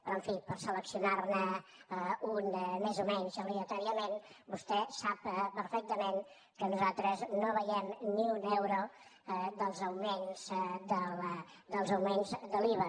però en fi per seleccionar ne un més o menys aleatòriament vostè sap perfectament que nosaltres no veiem ni un euro dels augments de l’iva